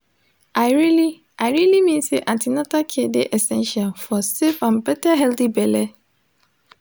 i really i really mean say an ten atal care de essential for safe and better healthy belle